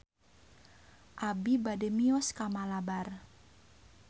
Abi bade mios ka Malabar